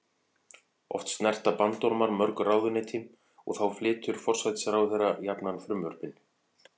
Oft snerta bandormar mörg ráðuneyti og þá flytur forsætisráðherra jafnan frumvörpin.